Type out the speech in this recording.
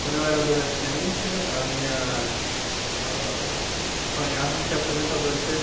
Quando eu era adolescente, a minha, ah eu sonhava em ser apresentador de tê vê